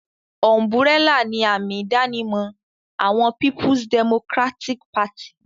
Ùm̀bùrẹ́là ni àmì-ìdánimọ̀ àwọn Peoples Democratic Party.